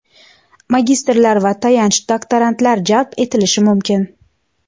magistrlar va tayanch doktorantlar jalb etilishi mumkin.